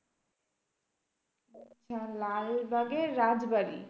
হম লালবাগের রাজবাড়ী?